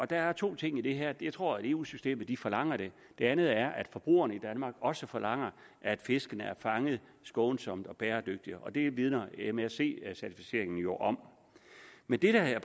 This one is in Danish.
der er to ting i det her det er tror at eu systemet forlanger det det andet er at forbrugerne i danmark også forlanger at fiskene er fanget skånsomt og bæredygtigt og det vidner msc certificeringen jo om men det her